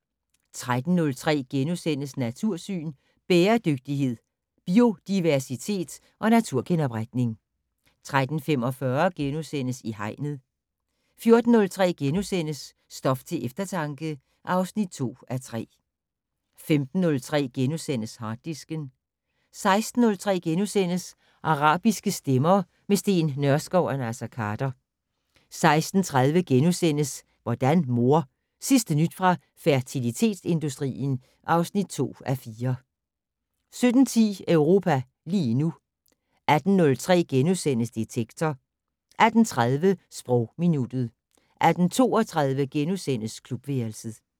13:03: Natursyn: Bæredygtighed, biodiversitet og naturgenopretning * 13:45: I Hegnet * 14:03: Stof til eftertanke (2:3)* 15:03: Harddisken * 16:03: Arabiske stemmer - med Steen Nørskov og Naser Khader * 16:30: Hvordan mor? Sidste nyt fra fertilitetsindustrien (2:4)* 17:10: Europa lige nu 18:03: Detektor * 18:30: Sprogminuttet 18:32: Klubværelset *